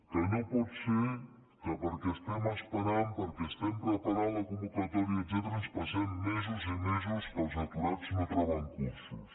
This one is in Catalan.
que no pot ser que perquè estem esperant perquè estem preparant la convocatòria etcètera ens passem mesos i mesos que els aturats no troben cursos